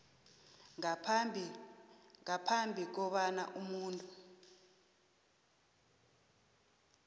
ngaphambi kobana umuntu